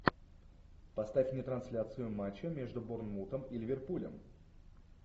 поставь мне трансляцию матча между борнмутом и ливерпулем